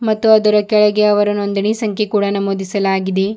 ಮತ್ತು ಅದರ ಕೆಳಗೆ ಅವರ ನೋಂದಣಿ ಸಂಖ್ಯೆ ಕೂಡ ನಮೂದಿಸಲಾಗಿದೆ.